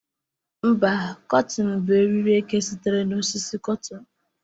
Mba, kotịn bụ eriri eke sitere na osisi Kotịn.